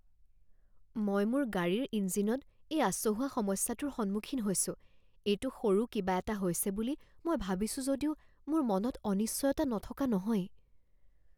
মই মোৰ গাড়ীৰ ইঞ্জিনত এই আচহুৱা সমস্যাটোৰ সন্মুখীন হৈছোঁ। এইটো সৰু কিবা এটা হৈছে বুলি মই ভাবিছোঁ যদিও মোৰ মনত অনিশ্চয়তা নথকা নহয়।